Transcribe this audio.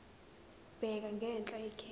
bheka ngenhla ikheli